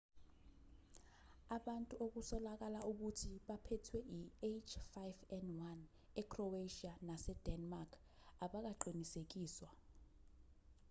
ubantu okusolakala ukuthi baphethwe i-h5n1 ecroatia nasedenmark abakaqinisekiswa